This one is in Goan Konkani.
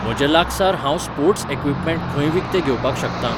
म्हजे लागसार हांव स्पोर्ट्स इक्वीपमेंट खंय विकते घेवपाक शकतां?